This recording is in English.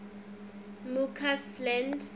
mccausland